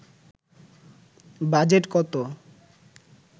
budget কত